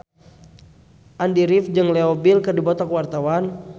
Andy rif jeung Leo Bill keur dipoto ku wartawan